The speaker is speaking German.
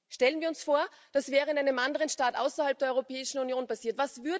Stellen wir uns vor, das wäre in einem anderen Staat außerhalb der Europäischen Union passiert!